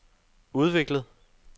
udviklet